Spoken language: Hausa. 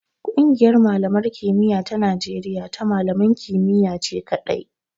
Ƙungiyar malaman kimiya ta Najeriya ta malaman kimiyya ce kaɗai.